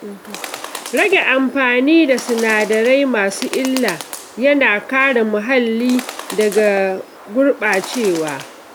Rage amfani da sinadarai masu illa yana kare muhalli daga gurɓacewa.